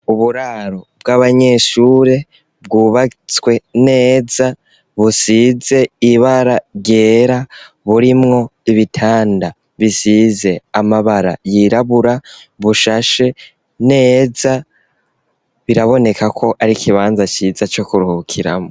Uburaro bw'abanyeshure, bwubatswe neza, busize ibara ryera, burimwo ibitanda bisize amabara yirabura, bushashe neza; biraboneka ko ari ikibanza ciza co kuruhukiramwo.